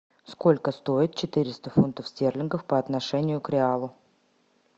сколько стоит четыреста фунтов стерлингов по отношению к реалу